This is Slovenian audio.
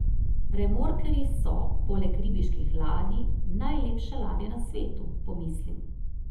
Remorkerji so, poleg ribiških ladij, najlepše ladje na svetu, pomislim.